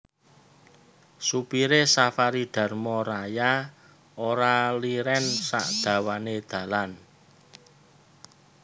Supire Safari Dharma Raya ora liren sak dawane dalan